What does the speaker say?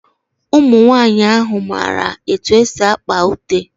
Ụmụnwaanyị ahụ mara etu esi akpa ute.